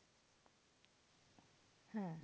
হ্যাঁ